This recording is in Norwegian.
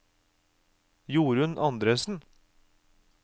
Jorun Andresen